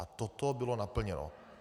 A toto bylo naplněno.